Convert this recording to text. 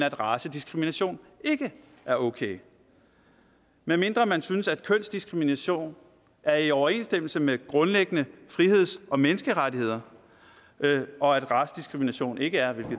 at racediskrimination ikke er okay medmindre man synes at kønsdiskrimination er i overensstemmelse med grundlæggende friheds og menneskerettigheder og at racediskrimination ikke er det